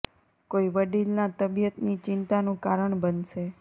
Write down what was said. કોઈ વડીલ ના તબિયત ની ચિંતા નું કારણ બનશે